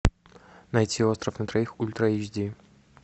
найти остров на троих ультра эйч ди